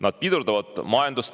Need pidurdavad majandust.